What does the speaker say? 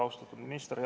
Austatud minister!